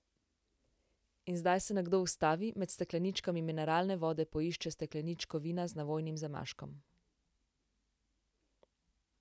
In zdaj se nekdo ustavi, med stekleničkami mineralne vode poišče stekleničko vina z navojnim zamaškom.